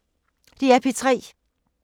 DR P3